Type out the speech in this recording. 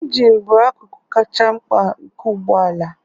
Ịnjịñ bụ akụkụ kacha mkpa nke ụgbọ ala